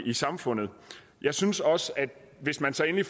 i samfundet jeg synes også at hvis man så endelig